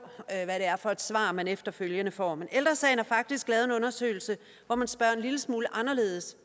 hvad det er for et svar man efterfølgende får ældre sagen har faktisk lavet en undersøgelse hvor man spørger en lille smule anderledes